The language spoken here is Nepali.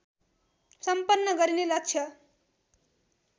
सम्पन्न गरिने लक्ष्य